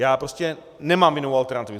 Já prostě nemám jinou alternativu.